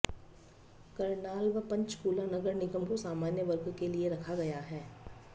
करनाल व पंचकूला नगर निगम को सामान्य वर्ग के लिए रखा गया है